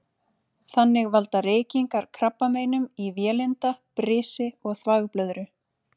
Þannig valda reykingar krabbameinum í vélinda, brisi og þvagblöðru.